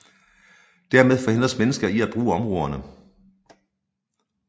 Dermed forhindres mennesker i at bruge områderne